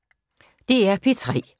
DR P3